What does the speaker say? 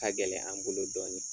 Ka gɛlɛn an bolo dɔɔnin